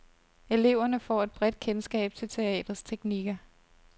Eleverne får et bredt kendskab til teatrets teknikker.